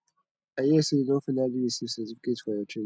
i hear say you don finally receive certificate for your training